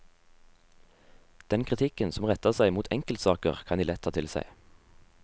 Den kritikken som retter seg mot enkeltsaker kan de lett ta til seg.